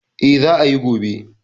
Eh, Za ayi gobe